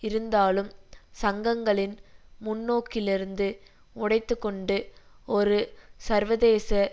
இருந்தாலும் சங்கங்களின் முன்னோக்கிலிருந்து உடைத்து கொண்டு ஒரு சர்வதேச